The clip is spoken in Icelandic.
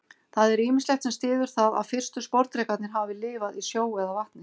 Það er ýmislegt sem styður það að fyrstu sporðdrekarnir hafi lifað í sjó eða vatni.